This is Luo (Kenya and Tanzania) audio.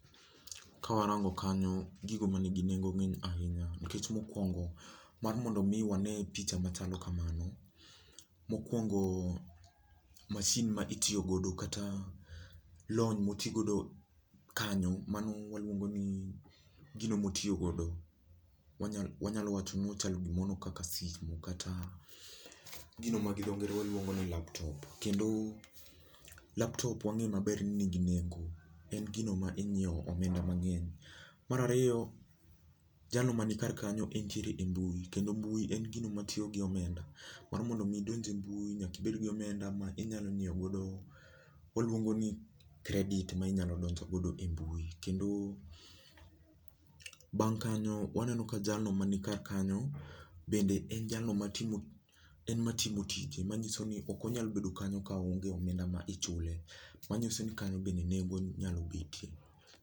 Kawarango kanyo, gigo ma nigi nengo ng'eny ahinya nikech mokwongo mar mondo mi wane picha machalo kamano, mokwongo mashin ma itiyo godo kata lony moti godo kanyo, mano waluongo ni gino motiyo godo. Wanya wanyalo wacho nochalo gi mono kaka simu kata gino ma gi dho ngere waluongo ni laptop kendo, laptop wang'e maber ni nigi nengo. En gino ma inyiew omenda mang'eny. Mar ariyo, jalo man kar kanyo entire e mbui kendo mbui en gino matiyo gi omenda. Mar mondo mi idonj e mbui nyaki ibed gi omenda ma inyalo nyiew godo, waluongo ni kredit ma inyalo donjo godo e mbui kendo bang' kanyo waneno ka jalo mani kar kanyo bende en jalo matimo en matimo tije, manyiso ni ok onyal bedo kanyo ka onge omenda ma ichule. Manyiso ni kanyo bende nengo nyalo betie